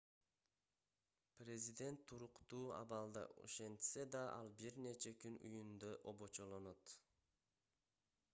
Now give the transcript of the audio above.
президент туруктуу абалда ошентсе да ал бир нече күн үйүндө обочолонот